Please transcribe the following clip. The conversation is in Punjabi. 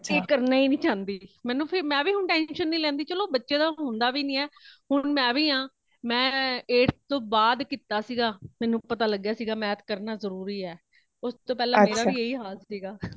ਇਹ ਕਰਨਾ ਹੀ ਨਹੀਂ ਚਾਉਂਦੀ ,ਮੇਨੂ ਫ਼ੇਰ ਮੇਵੀ ਹੁਣ tension ਨਹੀਂ ਲੈਂਦੀ ,ਚਲੋ ਬੱਚੇ ਦਾ ਹੋਂਦ ਵੀ ਨਹੀਂ , ਹੁਣ ਮੇਵੀ ਹਾ ਮੈ eight ਤੋਂ ਬਾਦ ਕੀਤਾ ਸੀਗਾ ,ਮੇਨੂ ਪਤਾ ਲਗਾ ਸੀ math ਕਰਨਾ ਜਰੂਰੀ ਹੇ ਉਸਤੋਂ ਪਹਿਲਾ overlap ਮੇਰਾ ਵੀ ਇਹੀ ਹਾਲ ਸੀਗਾ